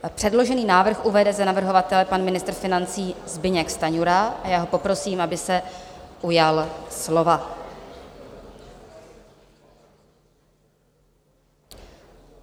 Předložený návrh uvede za navrhovatele pan ministr financí Zbyněk Stanjura a já ho poprosím, aby se ujal slova.